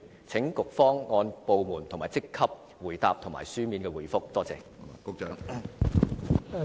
請局方按部門和職級來回答，並以書面方式答覆。